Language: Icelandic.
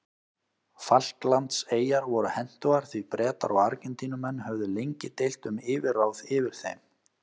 Falklandseyjar voru hentugar því Bretar og Argentínumenn höfðu lengi deilt um yfirráð yfir þeim.